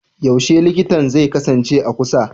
Yaushe likitan zai kasance a kusa?